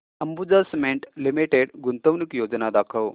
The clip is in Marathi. अंबुजा सीमेंट लिमिटेड गुंतवणूक योजना दाखव